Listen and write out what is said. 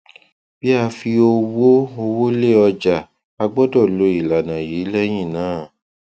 bí a fi owó owó lé ọjà a gbọdọ lo ìlànà yìí lẹyìn náà